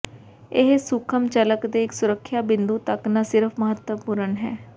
ਇਹ ਸੂਖਮ ਝਲਕ ਦੇ ਇੱਕ ਸੁਰੱਖਿਆ ਬਿੰਦੂ ਤੱਕ ਨਾ ਸਿਰਫ ਮਹੱਤਵਪੂਰਨ ਹੈ